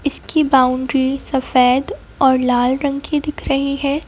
इसकी बाउंड्री सफेद और लाल रंग की दिख रही है।